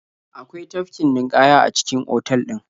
Akwai tafkin ninƙaya a cikin otal ɗin.